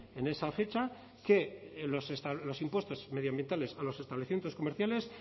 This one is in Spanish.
en esa fecha que los impuestos medioambientales a los establecimientos comerciales